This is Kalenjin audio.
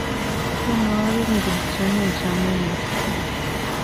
Tyenwogik ngircho nachame mising